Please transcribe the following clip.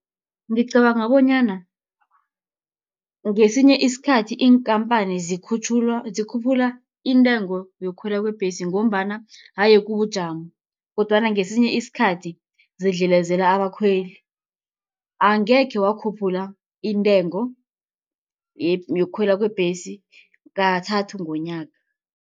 Ngicabanga bonyana ngesinye isikhathi iinkampani zikhutjhulwa, zikhuphula intengo yokukhwela kwebhesi, ngombana haye kubujamo, kodwana ngesinye isikhathi zidlelezela abakhweli. Angekhe wakhuphula intengo yokukhwela kwebhesi kathathu ngomnyaka.